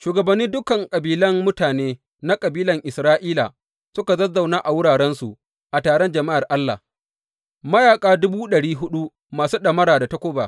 Shugabanni dukan kabilan mutane na kabilan Isra’ila suka zazzauna a wurarensu a taron jama’ar Allah, mayaƙa dubu ɗari huɗu masu ɗamara da takuba.